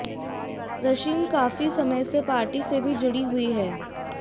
रशिम काफी समय से पार्टी से भी जुड़ी हुई हैं